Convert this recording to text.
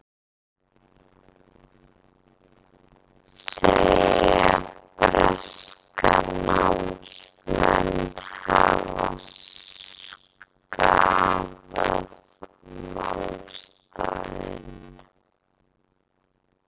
Segja breska námsmenn hafa skaðað málstaðinn